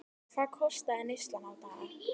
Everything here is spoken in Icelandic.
Hvað kostaði neyslan á dag?